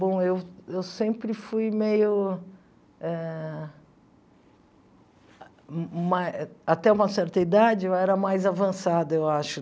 Bom, eu eu sempre fui meio ah ma... Até uma certa idade, eu era mais avançada, eu acho.